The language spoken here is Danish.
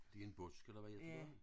Det en busk eller hvad hedder det